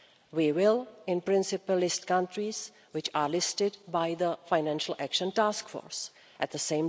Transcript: We will, in principle, list countries which are listed by the Financial Action Task Force At